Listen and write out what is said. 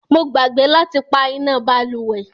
Mo gbàgbé láti pá iná bálùwẹ̀.